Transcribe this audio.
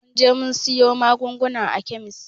Mun je mun siyo magungunan a kemis